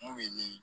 Mun bɛ di